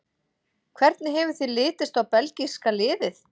Hvernig hefur þér litist á belgíska liðið?